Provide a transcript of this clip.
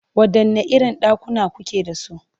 Waɗanne irin ɗakuna kuke da su?